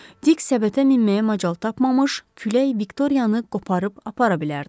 Dik səbətə minməyə macal tapmamış, külək Viktoriyanı qoparıb apara bilərdi.